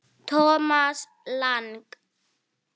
Thomas Lang